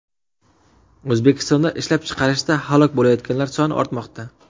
O‘zbekistonda ishlab chiqarishda halok bo‘layotganlar soni ortmoqda.